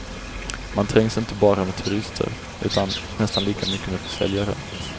Man trängs inte bara med turister utan nästan lika mycket med försäljare.